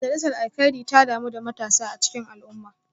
Majalisar Alkairi ta damu da matasa a cikin al’umma